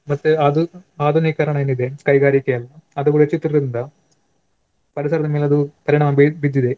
ಮತ್ತೆ ಆಧು~ ಆಧುನಿಕರಣ ಏನಿದೆ ಕೈಗಾರಿಕೆ ಎಲ್ಲಾ ಅದು ಕೂಡ ಹೆಚ್ಚುತ್ತಿರುವುದರಿಂದ ಪರಿಸರದ ಮೇಲೂ ಪರಿಣಾಮ ಬೀಳ್~ ಬಿದ್ದಿದೆ.